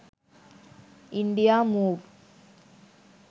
india move